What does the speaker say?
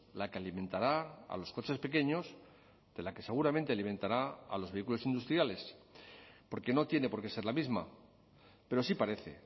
la que alimentará a los coches pequeños de la que seguramente alimentará a los vehículos industriales porque no tiene por qué ser la misma pero sí parece